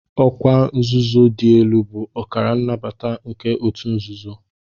Ọkwa nzuzo dị elu bụ akara nnabata nke ọtu nzuzo.